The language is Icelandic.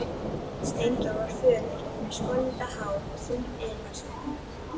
Steindór var fölur, með skollitað hár og þunnt yfirvararskegg.